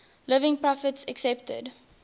living prophets accepted